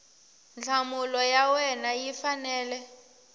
nhlamulo ya wena yi fanele